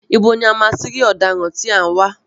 Ibo ni a ti máa rí ọ̀daràn tí a ń wá?